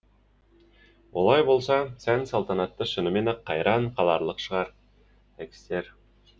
олай болса сән салтанаты шынымен ақ қайран қаларлық шығар экстер